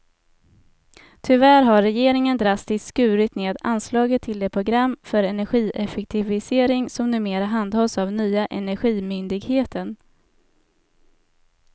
Tyvärr har regeringen drastiskt skurit ned anslaget till det program för energieffektivisering som numera handhas av nya energimyndigheten.